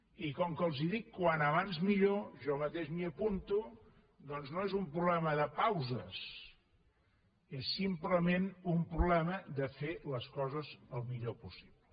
i com que els dic com més aviat millor jo mateix m’hi apunto doncs no és un problema de pauses és simplement un problema de fer les coses el millor possible